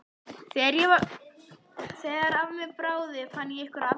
Þegar af mér bráði fann ég einhverja afsökun.